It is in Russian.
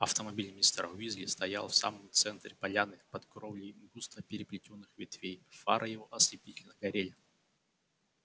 автомобиль мистера уизли стоял в самом центре поляны под кровлей густо переплетённых ветвей фары его ослепительно горели